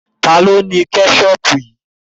Ta ló ní Kẹ́ṣọpù?